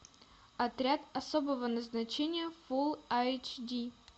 отряд особого назначения фул айч ди